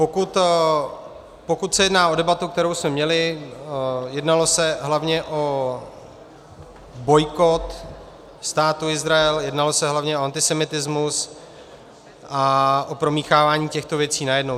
Pokud se jedná o debatu, kterou jsme měli, jednalo se hlavně o bojkot Státu Izrael, jednalo se hlavně o antisemitismus a o promíchávání těchto věcí najednou.